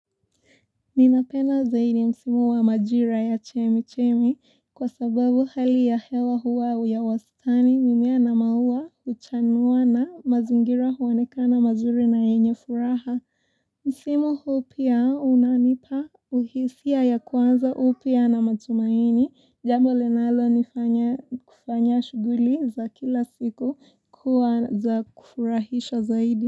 Ninapenda zaidi msimu wa majira ya chemi-chemi kwa sababu hali ya hewa huwa ya wastani, mimea na maua huchanuwa na mazingira huonekana mazuri na yenye furaha. Msimu huu pia unanipa uhisia ya kuanza upya na matumaini, jambo linalonifanya kufanya shughuli za kila siku kuwa za kufurahisha zaidi.